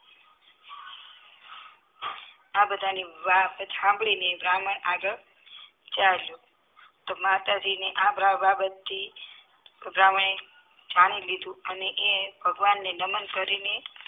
આ બધા ની વાત સાંભળીને બ્રાહ્મણ આગળ ચલિયો માતાજીને આ બાબતથી બ્રાહ્મણે માની લીધું અને એ ભગવાનને નમન કરીને